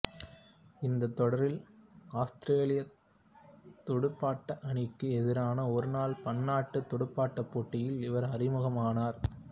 இந்தத் தொடரில் ஆத்திரேலியத் துடுப்பாட்ட அணிக்கு எதிரான ஒருநாள் பன்னாட்டுத் துடுப்பாட்டப் போட்டியில் இவர் அறிமுகமானார்